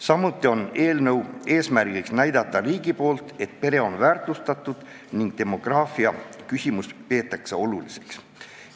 Samuti on eelnõu eesmärk anda riigi poolt signaal, et pere on väärtustatud ning demograafiaküsimust peetakse oluliseks.